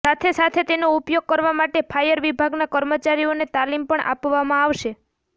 સાથે સાથે તેનો ઉપયોગ કરવા માટે ફાયર વિભાગના કર્મચારીઓને તાલીમ પણ આપવામાં આવશે